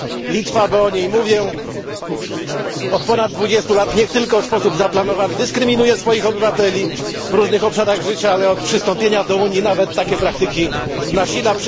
Litwa, bo o niej mówię, od ponad dwudziestu lat nie tylko w sposób zaplanowany dyskryminuje swoich obywateli w różnych obszarach życia, ale od przystąpienia do Unii nawet takie praktyki nasila.